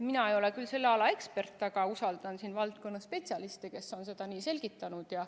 Mina ei ole küll selle ala ekspert, aga usaldan valdkonna spetsialiste, kes on seda selgitanud.